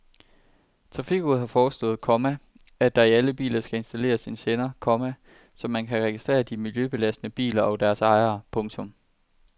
Trafikrådet har foreslået, komma at der i alle biler skal installeres en sender, komma så man kan registrere de miljøbelastende biler og deres ejere. punktum